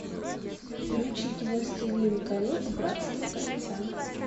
включить властелин колец братство кольца